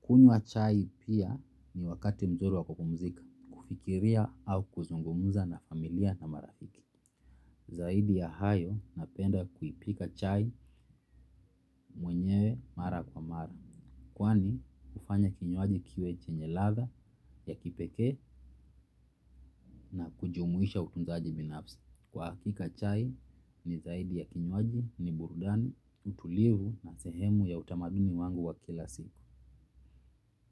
Kunywa chai pia ni wakati mzuri wa kupumzika, kufikiria au kuzungumza na familia na marafiki. Zaidi ya hayo napenda kuipika chai mwenyewe mara kwa mara. Kwani hufanya kinywaji kiwe chenye ladha ya kipekee na kujumuisha utunzaji binafsi. Kwa hakika chai ni zaidi ya kinywaji ni burudani, utulivu na sehemu ya utamaduni wangu wa kila siku.